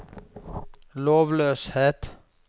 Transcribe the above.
lovløshet